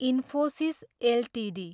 Infosys Ltd